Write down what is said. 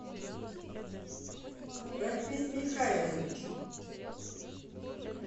рафис михайлович